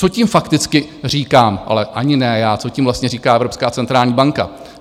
Co tím fakticky říkám - ale ani ne já, co tím vlastně říká Evropská centrální banka?